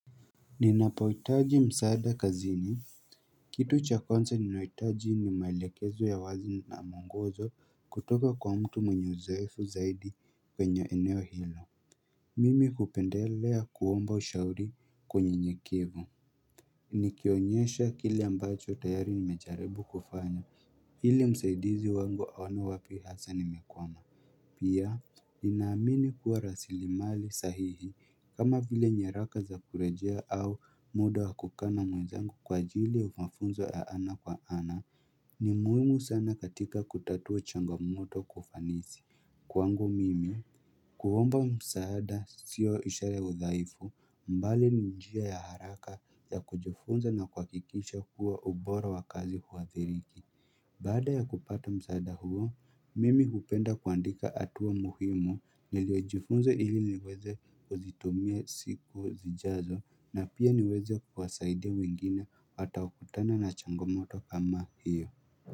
Ninapohitaji msaada kazini, Kitu cha kwanza ninahitaji ni maelekezo ya wazi na muongozo kutoka kwa mtu mwenye uzoefu zaidi kwenye eneo hilo Mimi kupendelea kuomba ushauri kwa unyenyekevu Nikionyesha kile ambacho tayari nimejaribu kufanya ili msaidizi wangu aone wapi hasa nimekwama Pia, ninaamini kuwa rasili mali sahihi kama vile nyaraka za kurejea au muda wa kukaa na mwezangu kwa ajili ya mafunzo ya ana kwa ana ni muhimu sana katika kutatua changamoto kwa ufanisi Kwangu mimi kuomba msaada sio ishara udhaifu mbali ni njia ya haraka ya kujifunza na kuhakiikisha kuwa ubora wa kazi huathiriki Baada ya kupata msaada huo, mimi hupenda kuandika hatua muhimu niliojifunze ili niweze kuzitumia siku zijazo na pia niweze kwasaidia wengine hata wakutana na changomoto kama hiyo.